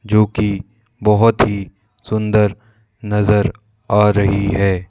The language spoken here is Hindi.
जो की बहोत ही सुंदर नजर आ रही है।